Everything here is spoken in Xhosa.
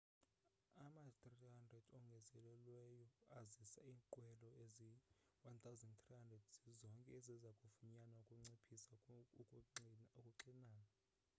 ama-300 ongezelelweyo azisa iinqwelo ezi-1,300 zizonke eziza kufunyanwa ukunciphisa ukuxinana